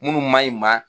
Minnu ma ɲi maa